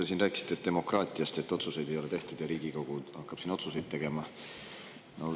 Te siin rääkisite demokraatiast, et otsuseid ei ole tehtud ja Riigikogu hakkab siin otsuseid tegema.